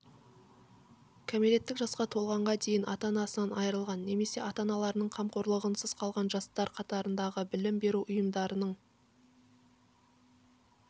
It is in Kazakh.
кәмелеттік жасқа толғанға дейін ата-анасынан айырылған немесе ата-аналарының қамқорлығынсыз қалған жастар қатарындағы білім беру ұйымдарының